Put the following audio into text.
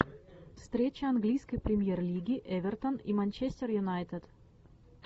встреча английской премьер лиги эвертон и манчестер юнайтед